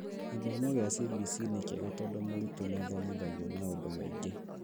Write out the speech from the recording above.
Gĩthomo gĩa CBC nĩ kĩega tondũ mũrutwo nĩathomithagio maũndũ maingĩ